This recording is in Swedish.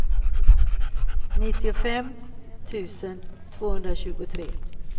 nittiofem tusen tvåhundratjugotre